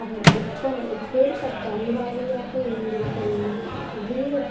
அவர் எப்ப~ எப்பேர்ப்பட்ட அறிவாளியாக இருந்திருக்க வேண்டும் வீர